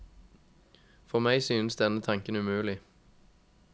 For meg synes denne tanken umulig.